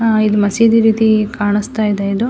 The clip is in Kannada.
ಆ- ಮಸೀದಿ ರೀತಿ ಕಾಣಿಸ್ತಾ ಇದೆ ಇದು.